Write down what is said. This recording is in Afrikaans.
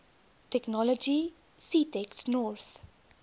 technology ctext north